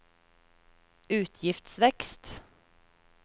utgiftsvekst